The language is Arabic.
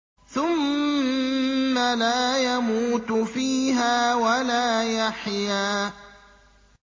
ثُمَّ لَا يَمُوتُ فِيهَا وَلَا يَحْيَىٰ